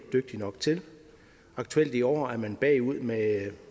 dygtig nok til aktuelt i år er man bagud med